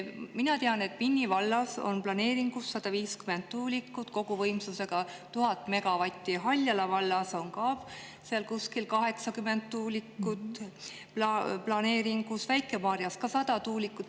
Mina tean, et Vinni vallas on planeeringus 150 tuulikut koguvõimsusega 1000 megavatti, Haljala vallas on ka seal kuskil 80 tuulikut planeeringus, Väike-Maarjas on 100 tuulikut.